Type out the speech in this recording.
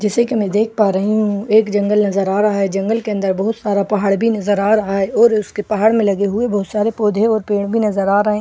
जैसे कि मैं देख पा रही हूं एक जंगल नजर आ रहा है जंगल के अंदर बहुत सारा पहाड़ भी नजर आ रहा है और उसके पहाड़ में लगे हुए बहुत सारे पौधे और पेड़ भी नजर आ रहे हैं एक --